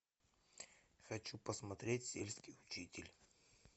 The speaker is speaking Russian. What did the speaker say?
хочу посмотреть сельский учитель